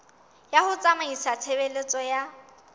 ya ho tsamaisa tshebeletso ya